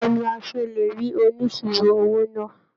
Báwo ni a ṣe lè rí oníṣirò owó náà?